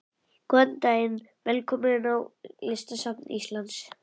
Góðan dag. Velkomin á Listasafn Íslands.